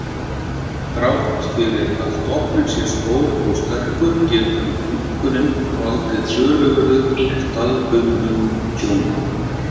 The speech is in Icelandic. Þrátt fyrir að stofn sé stór og sterkur, getur minkurinn valdið töluverðu staðbundnu tjóni.